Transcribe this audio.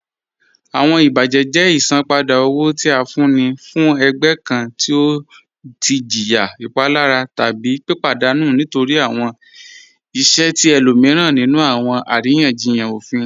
Awọn ibajẹ jẹ isanpada owo ti a fún ní fún ẹ̀gbẹ̀ kàn ti ọ tì jìyà ìpalàrà tábí pípadanù nítorí awọn ìṣẹ̀ ti ẹ̀lòmiran nínú awọn àriyanjíyàn òfín